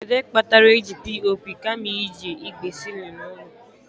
Kedu ihe kpatara eji POP kama iji igbe ceiling ụlọ?